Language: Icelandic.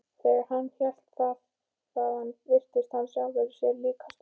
Þegar hann hélt þaðan virtist hann sjálfum sér líkastur.